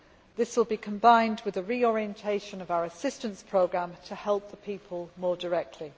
This will be combined with a reorientation of our assistance programmes to help the people more directly.